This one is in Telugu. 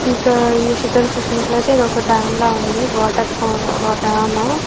ఇంకా ఈ చిత్రం చూసినట్లయితే ఇదొక డామ్ లా ఉంది. Water dam --